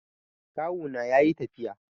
Kawuna ya yi tafiya.